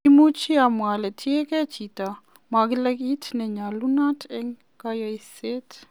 Imuch amwa ole tiengei chiito mogele kiit nenyolunot en koyosiet.